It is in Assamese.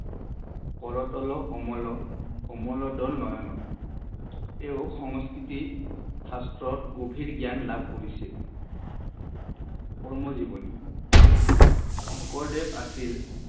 কৰতল কমল কমল দল নয়ন, তেও সংস্কৃতি শাস্ত্ৰত গভীৰ গ্যান লাভ কৰিছিল। কৰ্মজীৱনী শংকৰদেৱ আছিল